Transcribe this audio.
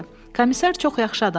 Komisar çox yaxşı adam idi.